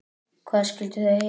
Hvað skyldu þau heita?